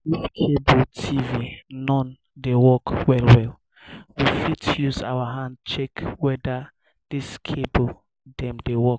if cable tv non dey work well well we fit use our hand check weda di cables dem dey work